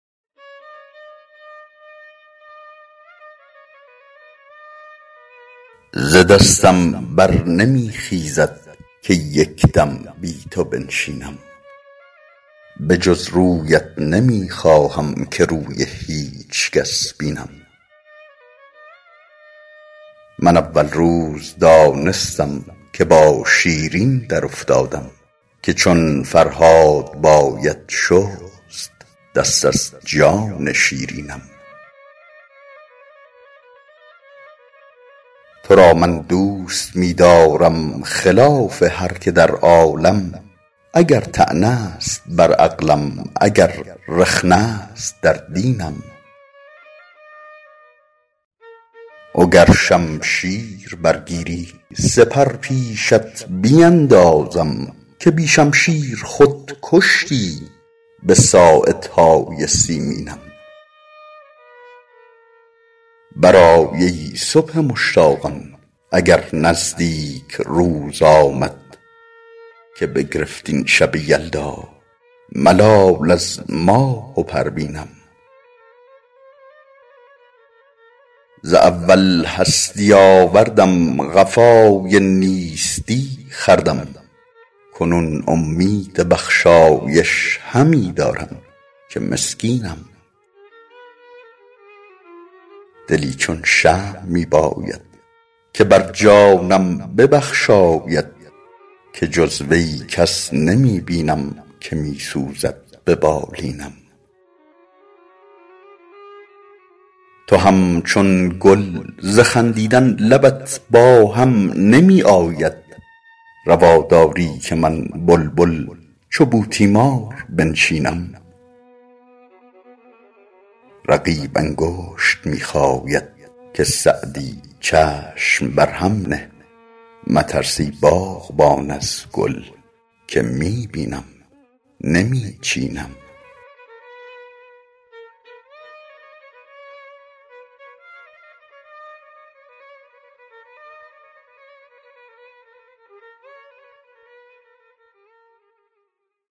ز دستم بر نمی خیزد که یک دم بی تو بنشینم به جز رویت نمی خواهم که روی هیچ کس بینم من اول روز دانستم که با شیرین درافتادم که چون فرهاد باید شست دست از جان شیرینم تو را من دوست می دارم خلاف هر که در عالم اگر طعنه است در عقلم اگر رخنه است در دینم و گر شمشیر برگیری سپر پیشت بیندازم که بی شمشیر خود کشتی به ساعدهای سیمینم برآی ای صبح مشتاقان اگر نزدیک روز آمد که بگرفت این شب یلدا ملال از ماه و پروینم ز اول هستی آوردم قفای نیستی خوردم کنون امید بخشایش همی دارم که مسکینم دلی چون شمع می باید که بر جانم ببخشاید که جز وی کس نمی بینم که می سوزد به بالینم تو همچون گل ز خندیدن لبت با هم نمی آید روا داری که من بلبل چو بوتیمار بنشینم رقیب انگشت می خاید که سعدی چشم بر هم نه مترس ای باغبان از گل که می بینم نمی چینم